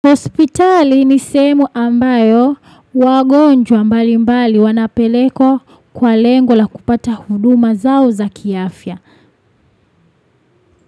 Hospitali ni sehemu ambayo wagonjwa mbali mbali wanapelekwa kwa lengo la kupata huduma zao za kiafya.